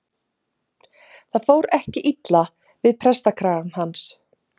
Það fór ekki illa við prestakragann hans.